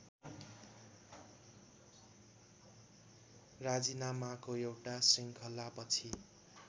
राजिनामाको एउटा शृङ्खलापछि